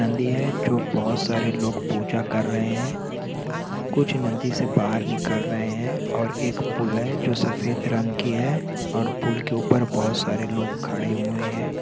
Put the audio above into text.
नदी है जो बहौत सारे लोग पूजा कर रहे हैं कुछ नदी से बाहर निकल रहे हैं और एक पुल है जो सफ़ेद रंग की है और पुल के ऊपर बहौत सारे लोग खड़े हुए हैं।